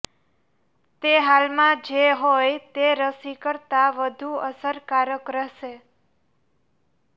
તે હાલમાં જે હોય તે રસી કરતા વધુ અસરકારક રહેશે